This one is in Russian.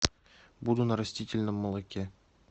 буду на растительном молоке